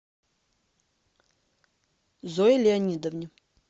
зое леонидовне